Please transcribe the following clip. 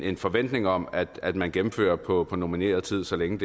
en forventning om at at man gennemfører på normeret tid så længe